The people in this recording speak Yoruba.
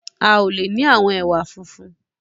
A o le ni àwọn ẹwà funfun.